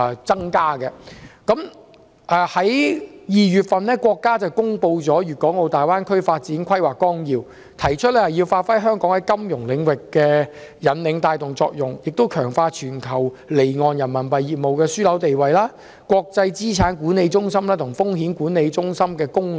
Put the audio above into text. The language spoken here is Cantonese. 在2月份，國家公布《粵港澳大灣區發展規劃綱要》，提出香港要發揮在金融領域的引領帶動作用，並強化全球離岸人民幣業務樞紐的地位，以及國際資產管理中心和風險管理中心的功能。